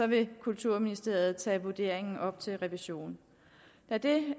vil kulturministeriet tage vurderingen op til revision